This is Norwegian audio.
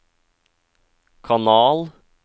kanal